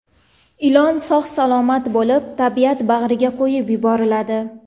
Ilon sog‘-salomat bo‘lib, tabiat bag‘riga qo‘yib yuboriladi.